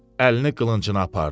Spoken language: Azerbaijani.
Əlini qılıncına apardı.